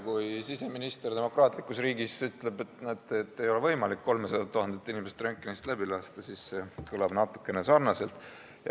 Kui siseminister demokraatlikus riigis ütleb, et näete, ei ole võimalik 300 000 inimest röntgenist läbi lasta, siis see kõlab natuke sarnaselt.